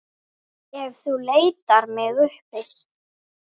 Ef þú leitar mig uppi.